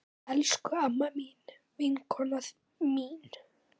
Elsku amma mín, vinkona mín.